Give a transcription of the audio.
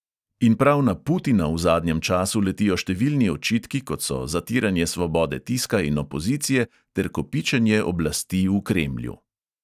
In prav na putina v zadnjem času letijo številni očitki, kot so zatiranje svobode tiska in opozicije ter kopičenje oblasti v kremlju.